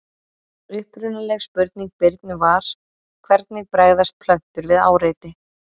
Upprunaleg spurning Birnu var: Hvernig bregðast plöntur við áreiti?